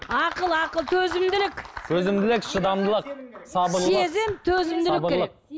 ақыл ақыл төзімділік төзімділік шыдамдылық сабырлық сезім төзімділік керек